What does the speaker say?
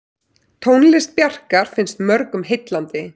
Tónlist Bjarkar finnst mörgum heillandi.